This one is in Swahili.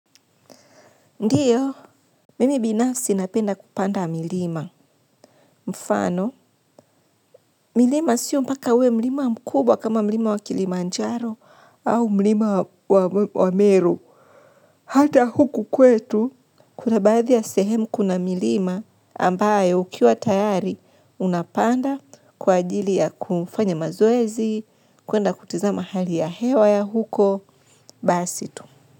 Ndiyo, mimi binafsi napenda kupanda milima. Mfano, milima sio mpaka we milima mkubwa kama milima wa kilimanjaro au milima wa meru. Hata huku kwetu, kuna baadhi ya sehemu kuna milima ambaye ukiwa tayari unapanda kwa ajili ya kufanya mazoezi, kuenda kutizama hali ya hewa ya huko, basitu.